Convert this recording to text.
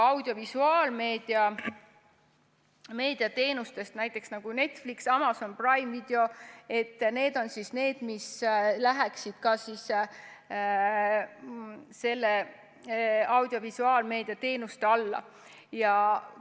Audiovisuaalmeedia teenustest näiteks Netflix ja Amazon Prime Video läheksid samuti selle alla.